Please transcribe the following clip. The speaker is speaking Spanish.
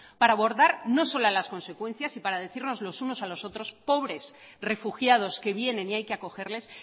para abordar no solo las consecuencias y para decirnos los unos a los otros pobres refugiados que vienen y hay que acogerles